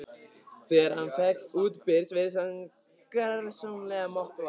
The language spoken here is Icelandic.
Þegar hann féll útbyrðis virtist hann gersamlega máttvana.